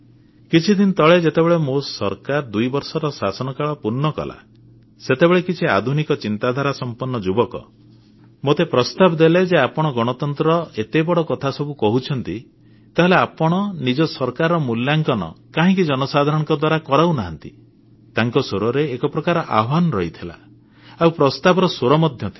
କିଛିଦିନ ତଳେ ଯେତେବେଳେ ମୋ ସରକାର ଦୁଇବର୍ଷର ଶାସନକାଳ ପୂର୍ଣ୍ଣ କଲା ସେତେବେଳେ କିଛି ଆଧୁନିକ ଚିନ୍ତାଧାରା ସମ୍ପନ୍ନ ଯୁବକ ମୋତେ ପ୍ରସ୍ତାବ ଦେଲେ ଯେ ଆପଣ ଗଣତନ୍ତ୍ରର ଏତେ ବଡ଼ କଥା ସବୁ କହୁଛନ୍ତି ତାହେଲେ ଆପଣ ନିଜ ସରକାରର ମୂଲ୍ୟାଙ୍କନ କାହିଁକି ଜନସାଧାରଣଙ୍କ ଦ୍ୱାରା କରାଉ ନାହାନ୍ତି ତାଙ୍କ ସ୍ୱରରେ ଏକ ପ୍ରକାର ଆହ୍ୱାନ ରହିଥିଲା ଆଉ ପ୍ରସ୍ତାବର ସ୍ୱର ମଧ୍ୟ ଥିଲା